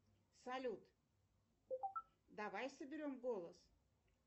салют давай соберем голос